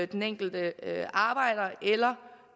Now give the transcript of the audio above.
den enkelte arbejder eller